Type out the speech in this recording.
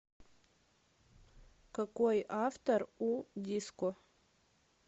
какой автор у диско